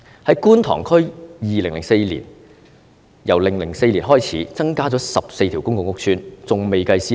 在觀塘區由2004年開始，增加了14個公共屋邨，還未計算私樓。